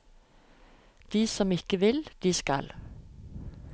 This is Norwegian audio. De som ikke vil, de skal.